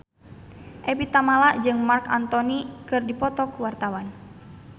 Evie Tamala jeung Marc Anthony keur dipoto ku wartawan